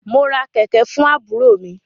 Mo ra kẹ̀kẹ̀ fún àbúrò mi.